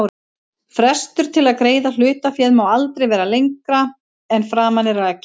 Frestur til að greiða hlutaféð má aldrei vera lengra en að framan er rakið.